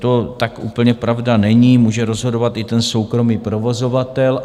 To tak úplně pravda není, může rozhodovat i ten soukromý provozovatel.